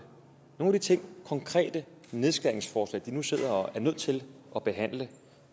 nogle af de konkrete nedskæringsforslag de nu sidder og er nødt til at behandle